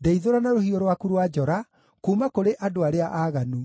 ndeithũra na rũhiũ rwaku rwa njora kuuma kũrĩ andũ arĩa aaganu.